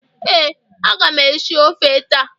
Ee, aga m esi ofe taa